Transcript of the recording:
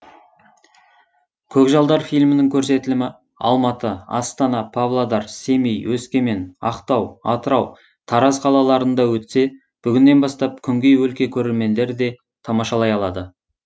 көкжалдар фильмінің көрсетілімі алматы астана павлодар семей өскемен ақтау атырау тараз қалаларында өтсе бүгіннен бастап күнгей өлке көрермендері де тамашалай алады